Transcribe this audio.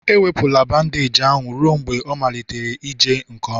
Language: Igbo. ewepụla bandeeji ahụ ruo mgbe ịmalite ije nke ọma